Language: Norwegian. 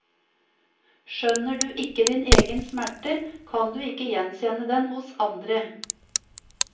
Skjønner du ikke din egen smerte, kan du ikke gjenkjenne den hos andre.